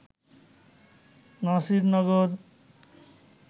Nasirnagar